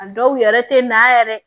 A dɔw yɛrɛ tɛ na yɛrɛ